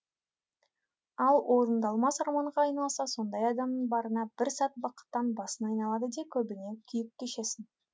ал орындалмас арманға айналса сондай адамның барына бір сәт бақыттан басың айналады да көбіне күйік кешесің